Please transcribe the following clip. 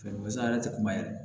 yɛrɛ tɛ kuma yɛrɛ